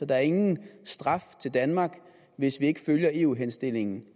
der ingen straf til danmark hvis vi ikke følger eu henstillingen